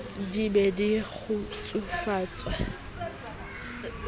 di be le kgutsufatso e